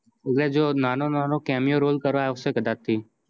એટલે જો નાનો નાનો cameo role કરાયો હસે કદાચ થી